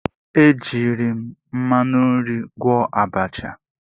E jiiri m mmanụ nri gwọọ abacha.